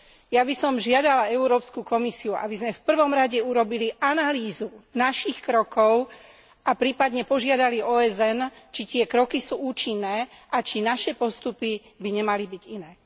Ja by som žiadala Európsku komisiu, aby sme v prvom rade urobili analýzu našich krokov a prípadne požiadali OSN, či tie kroky sú účinné a či naše postupy by nemali byť iné.